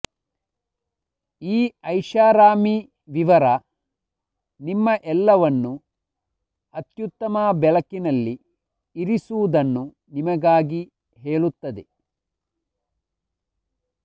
ಈ ಐಷಾರಾಮಿ ವಿವರ ನಿಮ್ಮ ಎಲ್ಲವನ್ನು ಅತ್ಯುತ್ತಮ ಬೆಳಕಿನಲ್ಲಿ ಇರಿಸುವುದನ್ನು ನಿಮಗಾಗಿ ಹೇಳುತ್ತದೆ